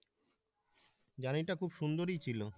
গাড়িটা খুব সুন্দরই ছিল